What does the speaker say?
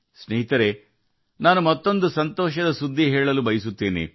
ಸ್ನೇಹಿತರೇ ನಾನು ನಿಮ್ಮೊಂದಿಗೆ ಇನ್ನೊಂದು ಸಂತೋಷದ ವಿಷಯವನ್ನು ಹಂಚಿಕೊಳ್ಳಲು ಬಯಸುತ್ತೇನೆ